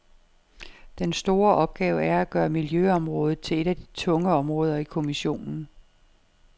Den store opgave er at gøre miljøområdet til et af de tunge områder i kommissionen.